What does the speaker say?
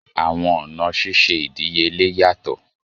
Àwọn ọna ṣiṣe idiyele yatọ.